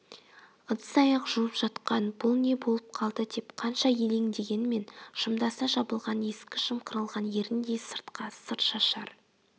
ыдыс-аяқ жуып жатқан бұл не болып қалды деп қанша елеңдегенмен жымдаса жабылған ескі жымқырылған еріндей сыртқа сыр шашар